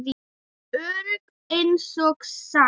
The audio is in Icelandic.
Örugg einsog þær.